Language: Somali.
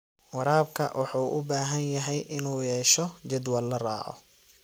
Waraabka wuxuu u baahan yahay inuu yeesho jadwal la raaco.